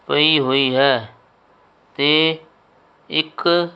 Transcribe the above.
ਪਈ ਹੋਈ ਹੈ ਤੇ ਇੱਕ--